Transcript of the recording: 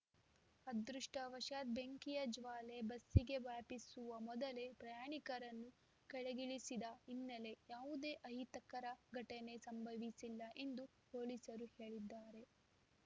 ಅದೃಷ್ಟವಶಾತ್‌ ಬೆಂಕಿಯ ಜ್ವಾಲೆ ಬಸ್ಸಿಗೆ ವ್ಯಾಪಿಸುವ ಮೊದಲೇ ಪ್ರಯಾಣಿಕರನ್ನು ಕೆಳಗಿಳಿಸಿದ ಹಿನ್ನೆಲೆ ಯಾವುದೇ ಅಹಿತಕರ ಘಟನೆ ಸಂಭವಿಸಿಲ್ಲ ಎಂದು ಪೊಲೀಸರು ಹೇಳಿದ್ದಾರೆ